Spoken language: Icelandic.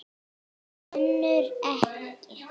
Önnur ekki.